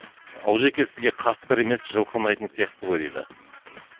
олжеке сізге қасқыр емес жылқы ұнайтын сияқты ғой дейді